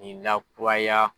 Nin na kuraya.